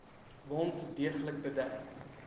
wond deeglik bedek